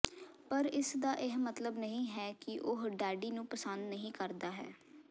ਪਰ ਇਸ ਦਾ ਇਹ ਮਤਲਬ ਨਹੀ ਹੈ ਕਿ ਉਹ ਡੈਡੀ ਨੂੰ ਪਸੰਦ ਨਹੀ ਕਰਦਾ ਹੈ